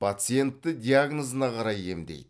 пациентті диагнозына қарай емдейді